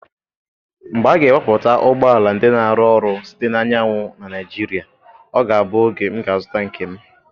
Mgbe a ga-ewepụta ụgbọ ala ndị na-arụ ọrụ site na anyanwụ na Naịjirịa, ọ ga-abụ oge m ga-azụta nke m.